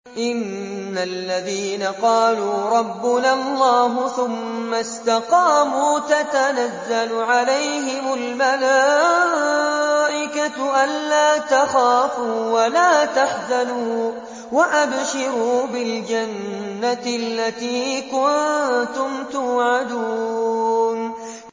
إِنَّ الَّذِينَ قَالُوا رَبُّنَا اللَّهُ ثُمَّ اسْتَقَامُوا تَتَنَزَّلُ عَلَيْهِمُ الْمَلَائِكَةُ أَلَّا تَخَافُوا وَلَا تَحْزَنُوا وَأَبْشِرُوا بِالْجَنَّةِ الَّتِي كُنتُمْ تُوعَدُونَ